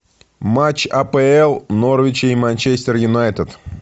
матч апл норвича и манчестер юнайтед